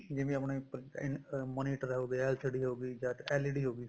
ਜਿਵੇਂ ਆਪਣਾ ਅਮ monitor ਹੋਗਿਆ LCD ਹੋਗੀ ਜਾਂ LED ਹੋਗੀ